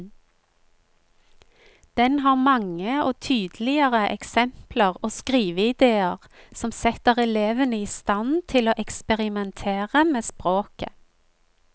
Den har mange og tydelige eksempler og skriveidéer som setter elevene i stand til å eksperimentere med språket.